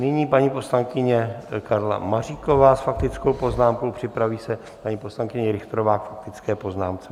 Nyní paní poslankyně Karla Maříková s faktickou poznámkou, připraví se paní poslankyně Richterová k faktické poznámce.